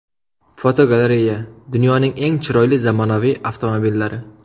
Fotogalereya: Dunyoning eng chiroyli zamonaviy avtomobillari.